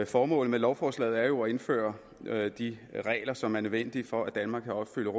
formålet med lovforslaget er jo at indføre de regler som er nødvendige for at danmark kan opfylde